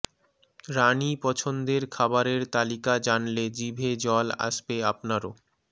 রানি পছন্দের খাবারের তালিকা জানলে জিভে জল আসবে আপনারও